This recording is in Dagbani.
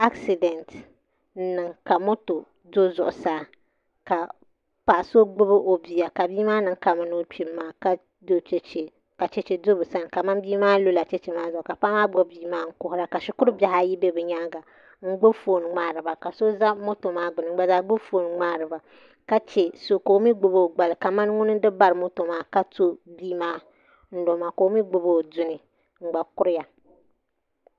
Asidɛnt n niŋ ka moto do zuɣusaa ka paɣa so gbubi o bia ka bia maa niŋ kamani o kpimi maa ka chɛchɛ do bi sani kamani bia maa lula chɛchɛ maa zuɣu maa ka paɣa maa gbubi bia maa n kuhura ka shikuru bihi ayi bɛ bi nyaanga n gbubi foon n ŋmaariba ka chɛ so ka o mii gbubi o gbali kamani ŋuni n di bari moto maa ka ŋmɛ bia maa ka o mii gbubi o gbali n gba kuriya